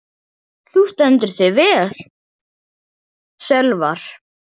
Þú stendur þig vel, Sölvar!